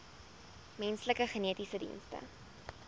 menslike genetiese dienste